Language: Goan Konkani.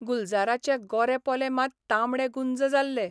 गुलजाराचे गोरे पोले मात तांबडे गुंज जाल्ले.